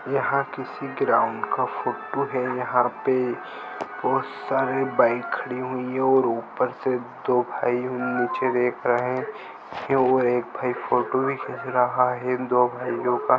यहाँ किसी ग्राउंड का फोटो है यहाँ पे बहुत सारी और उपर से दो भाई नीचे देख रहे है ये ओ एक भाई फोटो भी खिंच रहा है दो भाइयों का --